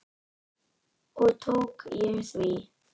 Og tók ég því.